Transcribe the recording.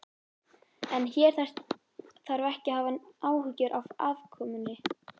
En hér þarf ekki að hafa áhyggjur af afkomunni.